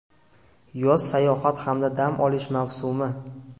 Yoz sayohat hamda dam olish mavsumi.